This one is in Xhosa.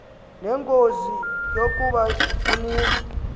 nengozi yokuba uninzi